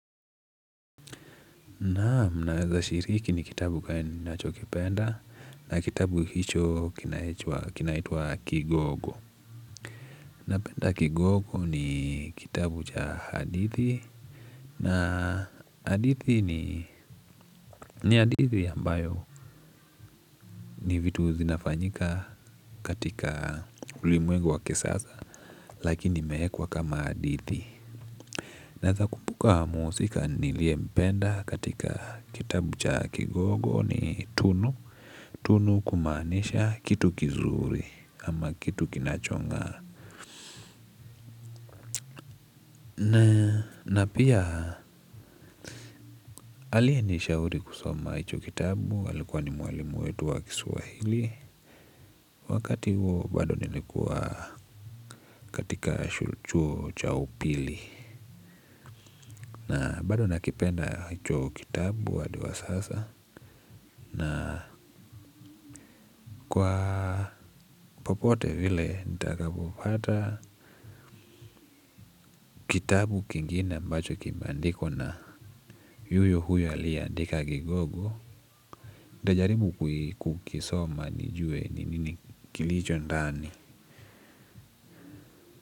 Naam naweza shiriki ni kitabu gani nacho kipenda na kitabu hicho kinaitwa kigogo. Napenda kigogo ni kitabu cha hadithi. Na hadithi ni hadithi ambayo ni vitu zinafanyika katika ulimwengu wa kisasa. Lakini imewekwa kama hadithi. Naweza kumbuka muhusika niliye mpenda katika kitabu cha kigogo ni tunu. Tunu kumaanisha kitu kizuri ama kitu kinachong'aa. Na pia aliyenisha uri kusoma hicho kitabu alikuwa ni mwalimu wetu wa kiswahili. Wakati huo bado nilikuwa katika chuo chaupili. Na bado nakipenda hicho kitabu hadiwa sasa. Na kwa popote vile nitakapopata kitabu kingine ambacho kimeandikwa na yuyo huyo aliyea ndika kigogo. Nitajaribu kukisoma nijue nini kilicho ndani.